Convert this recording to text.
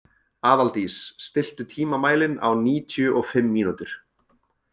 Aðaldís, stilltu tímamælinn á níutíu og fimm mínútur.